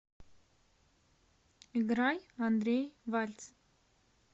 играй андрей вальц